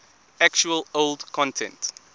actual old content